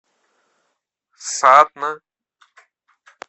сатна